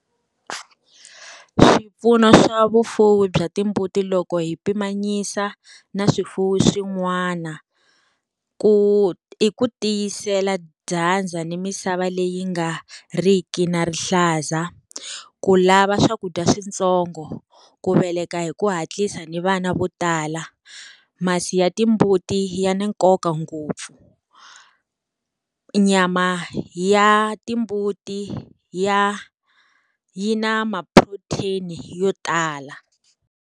Swipfuno swa vufuwi bya timbuti loko hi pimanyisa na swifuwo swin'wana, ku i ku tiyisela dyandza ni misava leyi nga ri ki na rihlaza, ku lava swakudya switsongo, ku veleka hi ku hatlisa ni vana vo tala. Masi ya timbuti ya ni nkoka ngopfu. Nyama ya timbuti ya yi na ma-protein yo tala.